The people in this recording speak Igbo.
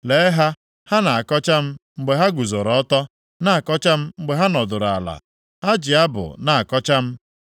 Lee ha! Ha na-akọcha m mgbe ha guzoro ọtọ, na-akọcha m mgbe ha nọdụrụ ala. Ha ji abụ na-akọcha m.